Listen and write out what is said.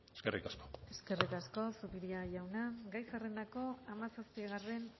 eskerrik asko eskerrik asko zupiria jauna gai zerrendako hamazazpigarren